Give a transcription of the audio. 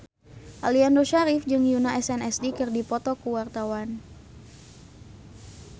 Aliando Syarif jeung Yoona SNSD keur dipoto ku wartawan